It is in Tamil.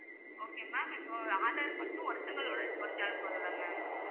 okay ma'am இப்ப aadhar மட்டும் ஒருத்தவங்களோட original போதும்ல்ல ma'am